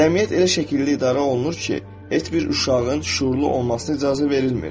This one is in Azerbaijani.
Cəmiyyət elə şəkildə idarə olunur ki, heç bir uşağın şüurlu olmasına icazə verilmir.